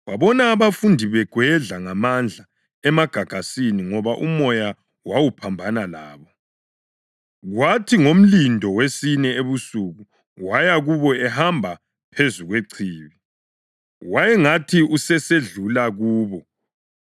Wabona abafundi begwedla ngamandla emagagasini ngoba umoya wawuphambana labo. Kwathi ngomlindo wesine ebusuku waya kubo ehamba phezu kwechibi. Wayengathi usesedlula kubo